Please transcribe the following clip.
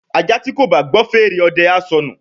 ajá tí kò bá gbọ́ fèrè ọdẹ á sọnù